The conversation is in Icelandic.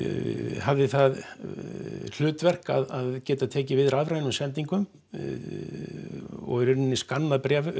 hafði það hlutverk að geta tekið við rafrænum sendingum og í rauninni skannað